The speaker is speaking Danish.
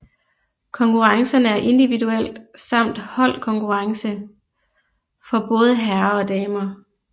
Konkurrencerne er individuel samt hold holdkonkurrence for både herrer og damer